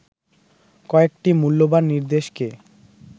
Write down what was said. কয়েকটি মূল্যবান নির্দেশকে